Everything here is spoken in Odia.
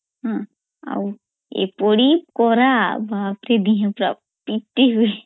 ଅମ୍